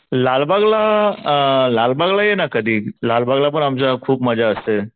लालबागला अ लालबागला ये ना कधी. लालबागला पण आमच्या खूप मजा असते.